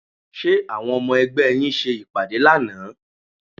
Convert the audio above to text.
Ṣé àwọn ọmọ ẹgbẹ́ yín ṣe ìpàdé lánàá?